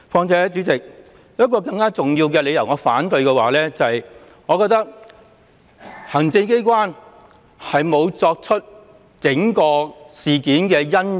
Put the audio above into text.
主席，我有一個更重要的反對理由，就是行政機關沒有檢討整個事件的因由。